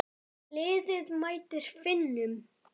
Liðið mætir Finnum.